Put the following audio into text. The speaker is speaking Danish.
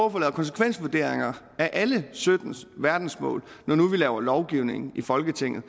at få lavet konsekvensvurderinger af alle sytten verdensmål når nu vi laver lovgivning i folketinget